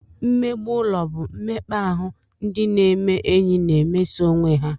Mmegbu ụlọ bụ mmekpa ahụ ndị na-eme enyi na-emeso onwe ha